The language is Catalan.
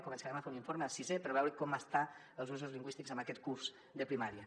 començarem a fer un informe a sisè per veure com estan els usos lingüístics en aquest curs de primària